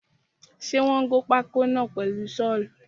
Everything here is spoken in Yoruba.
Ṣe wọ́n gé pákó náà pẹ̀lu sọ́ọ̀lù?